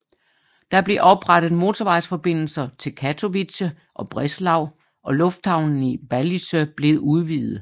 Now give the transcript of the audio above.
Der blev oprettet motorvejsforbindelser til Katowice og Breslau og lufthavnen i Balice blev udvidet